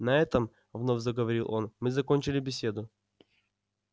на этом вновь заговорил он мы закончили беседу